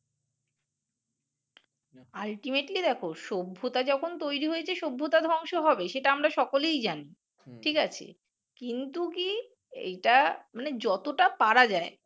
ultimately দেখো সভ্যতা যখন তৈরি হয়েছে সভ্যতা ধ্বংস হবেই। সেটা আমরা সকলেই জানি, ঠিক আছে? কিন্তু কি এটা মানে যতটা পারা যায়